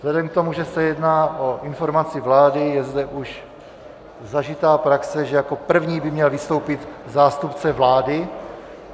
Vzhledem k tomu, že se jedná o informaci vlády, je zde už zažitá praxe, že jako první by měl vystoupit zástupce vlády.